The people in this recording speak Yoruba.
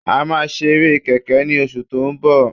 A máa ṣe eré kẹ̀kẹ́ ní oṣù tó ń bọ̀